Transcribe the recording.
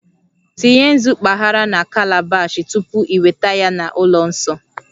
Tinye nzu mpaghara na calabash tupu ị weta ya na ụlọ nsọ